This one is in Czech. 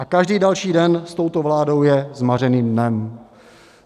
A každý další den s touto vládou je zmařeným dnem.